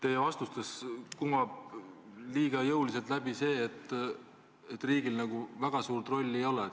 Teie vastustest kumab liiga jõuliselt läbi see, et riigil nagu väga suurt rolli ei ole.